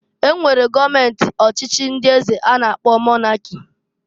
E nwere gọọment ọchịchị ndị eze a na-akpọ Monaki